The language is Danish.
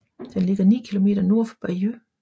Den ligger 9 km nord for Bayeux